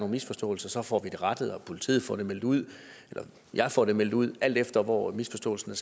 misforståelser får vi dem rettet og politiet får det meldt ud eller jeg får det meldt ud alt efter hvor misforståelsen